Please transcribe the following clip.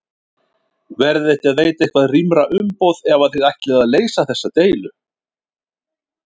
Verðiði ekki að veita eitthvað rýmra umboð ef að þið ætlið að leysa þessa deilu?